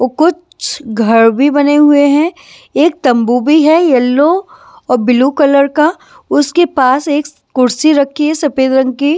और कुछ घर भी बने हुए हैं एक तंबू भी है यलो और ब्लू कलर का उसके पास एक कुर्सी रखी है सफेद रंग की--